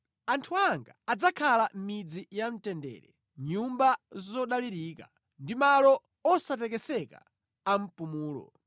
Anthu anga adzakhala mʼmidzi yamtendere, mʼnyumba zodalirika, ndi malo osatekeseka a mpumulo.